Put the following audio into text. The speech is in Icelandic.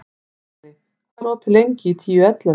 Kali, hvað er opið lengi í Tíu ellefu?